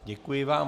Děkuji vám.